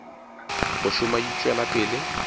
go šoma di tšwela pele